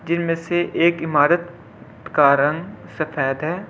जिनमें से एक इमारत का रंग सफेद है।